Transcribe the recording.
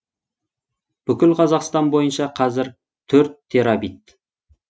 бүкіл қазақстан бойынша қазір төрт терабит